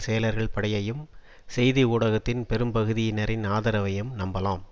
செயலர்கள் படையையும் செய்தி ஊடகத்தின் பெரும்பகுதியினரின் ஆதரவையும் நம்பலாம்